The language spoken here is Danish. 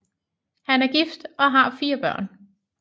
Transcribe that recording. Han er gift og har fire børn